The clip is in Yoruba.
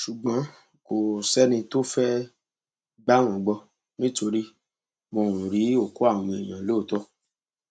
ṣùgbọn kò sẹni tó fẹẹ gbà wọn gbọ nítorí wọn ò rí òkú àwọn èèyàn lóòótọ